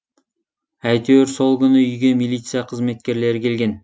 әйтеуір сол күні үйге милиция қызметкерлері келген